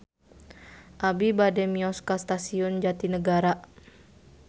Abi bade mios ka Stasiun Jatinegara